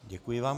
Děkuji vám.